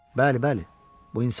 Bəli, bəli, bu insafsızlıqdır.